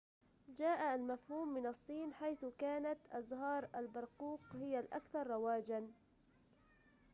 جاء المفهوم من الصين حيث كانت أزهار البرقوق هي الأكثر رواجًا